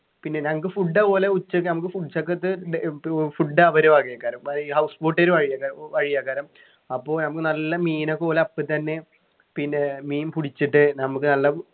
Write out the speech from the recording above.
പിന്നെ ഞങ്ങക്ക് food അതുപോലെ ഉച്ചക്ക് ഞമ്മക്ക് food ഏർ food അവരവകയാ കാര്യം ഈ house boat ൽ വഴിയാ വഴിയാ കാരം അപ്പൊ ഞമ്മക്ക് നല്ല മീനൊക്കെ ഓല് അപ്പൊ തന്നെ പിന്നെ മീൻ പുടിച്ചിട്ട് നമ്മക്ക് നല്ല